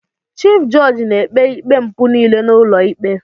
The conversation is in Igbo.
Chif jọọjị na-ekpe ikpe mpụ niile n'ụlọikpe.